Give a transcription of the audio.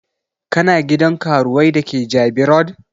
Kana gidan karuwai da ke Jabi road?